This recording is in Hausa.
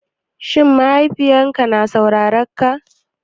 Shin mahaifinka yana saurarenka?